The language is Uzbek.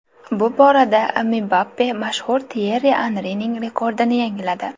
Bu borada Mbappe mashhur Tyerri Anrining rekordini yangiladi.